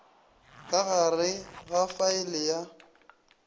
ka gare ga faele ya